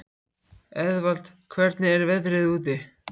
Eðvald, hvernig er veðrið úti?